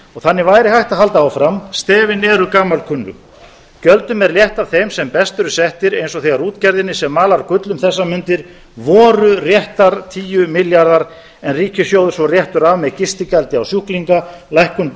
þannig væri hægt að halda áfram stefin eru gamalkunnug gjöldum er létt af þeim sem best eru settir eins og þegar útgerðinni sem malar gull um þessar mundir voru réttir tíu milljarðar en ríkissjóður svo réttur af með gistigjaldi á sjúklinga lækkun